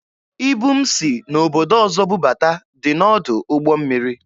Ibu m si n'obodo ọzọ bubata dị n'ọdụ ụgbọ mmiri.